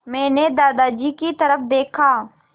मैंने दादाजी की तरफ़ देखा